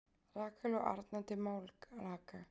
Rakel og Arna til Málaga